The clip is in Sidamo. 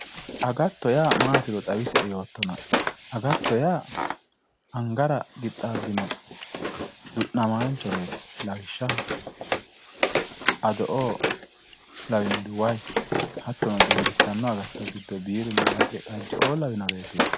Agatto yaa maatiro xawisie yoottona agatto yaa angara qixxaabbino du'namaanchoreeti lawishshaho ado"oo lawinori wayi hattono dimbissanno agatto giddonni biirunna haraqe xajje"oo lawinoreeti